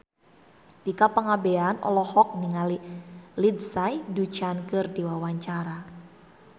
Tika Pangabean olohok ningali Lindsay Ducan keur diwawancara